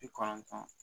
Bi kɔnɔntɔn